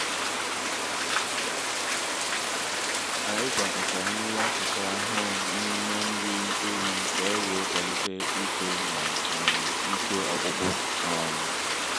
ànyị̀ gwàkọ́tá nri akụkụ ahụ́ n’ímé nri éwí ka é weé kwálité ító na um íké ọ́kpụ́kpụ́. um